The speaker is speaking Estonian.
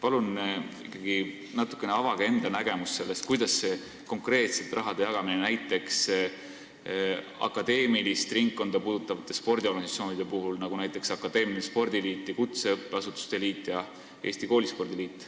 Palun avage ikkagi natuke rohkem enda nägemust selle kohta, kuidas hakkab see rahajagamine olema konkreetselt akadeemilist ringkonda puudutavate spordiorganisatsioonide puhul, nagu näiteks akadeemiline spordiliit, kutseõppeasutuste liit ja Eesti Koolispordi Liit.